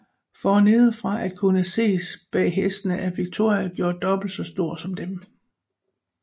For nedefra at kunne ses bag hestene er Victoria gjort dobbelt så stor som dem